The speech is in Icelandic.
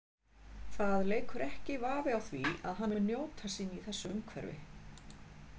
Það leikur ekki vafi á því að hann mun njóta sín í þessu umhverfi.